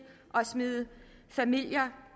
at smide familier